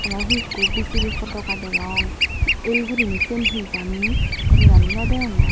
aro he ikko BJP potoga degong el guri siyen he jani gomey dali no degongor.